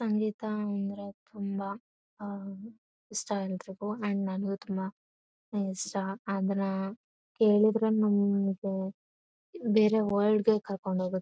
ನಂದಿತಾ ಅಂದ್ರೆ ತುಂಬಾ ಆ ಇಷ್ಟ. ಎಲ್ಲರಿಗು ಅಂಡ್ ನನಗು ತುಂಬಾ ಇಷ್ಟ. ಅದರ ಹೇಳಿದ್ರೆ ನಮಗೆ ಬೇರೆ ವರ್ಲ್ಡ್ ಗೆ ಕರ್ಕೊಂಡು ಹೋಗುತ್ತೆ.